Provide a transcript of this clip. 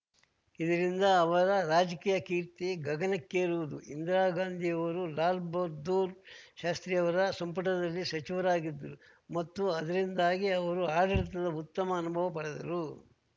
ಇದರಿಂದ ಅವರ ರಾಜಕೀಯ ಕೀರ್ತಿ ಗಗನಕ್ಕೇರುವುದು ಇಂದಿರಾ ಗಾಂಧಿಯವರು ಲಾಲ್‌ಬಹಾದ್ದೂರ್‌ ಶಾಸ್ತ್ರಿಯವರ ಸಂಪುಟದಲ್ಲಿ ಸಚಿವರಾಗಿದ್ದರು ಮತ್ತು ಅದರಿಂದಾಗಿ ಅವರು ಆಡಳಿತದ ಉತ್ತಮ ಅನುಭವ ಪಡೆದರು